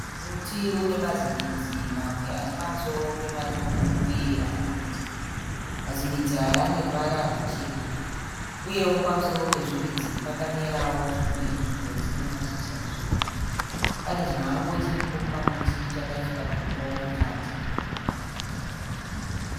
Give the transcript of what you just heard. Muti unemazimidzi mamwe aripamusoro pematombo uye arikunze. Mazimidzi aya aneruvara rwuchena, uyewo pamusoro pezvimidzi pakamerawo zvimwe zvikwenzi nemashizha zviripo. Pane chimhango chiripo pamuti chakaiswa dombo mukati.